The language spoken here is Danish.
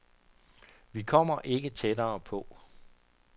Vi kommer ikke tættere på.